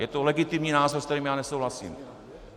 Je to legitimní názor, s kterým já nesouhlasím.